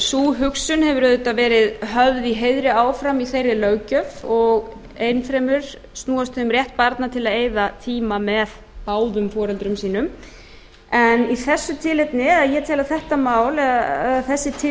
sú hugsun hefur auðvitað verið höfð í heiðri áfram í þeirri löggjöf og enn fremur snúist um rétt barna til að eyða tíma með báðum foreldrum sínum en í þessu tilefni eða ég tel að þetta mál eða þessi tilvik